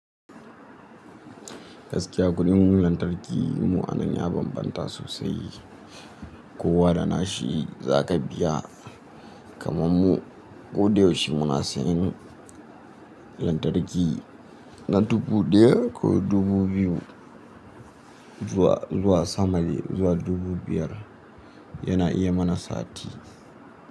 Gaskiya gurin lantarki mu'anan ya bambanta sosai, kowa da nashi za ka biya, kamammu kuɗi da shi muna sayan lantarki na dubu ɗaya ko dubu biyu zuwa sama le zuwa dubu biyar yana iya mana sati.